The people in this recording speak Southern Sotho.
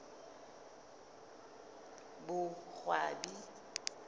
boqwabi